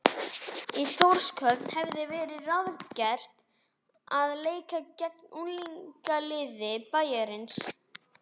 Í Þórshöfn hafði verið ráðgert að leika gegn unglingaliði bæjarins.